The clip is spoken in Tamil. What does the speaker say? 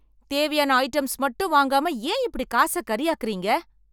தேவையான ஐட்டம்ஸ் மட்டும் வாங்காம ஏன் இப்படி காச கரியாக்குறீங்க